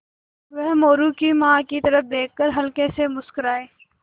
वह मोरू की माँ की तरफ़ देख कर हल्के से मुस्कराये